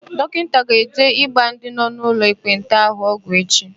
Dọkịta ga-eje ịgba ndị nọ n'ụlọ ekpenta ahụ ọgwụ echi.